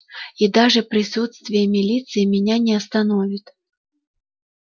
и даже присутствие милиции меня не остановит